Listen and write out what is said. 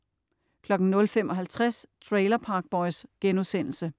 00.55 Trailer Park Boys*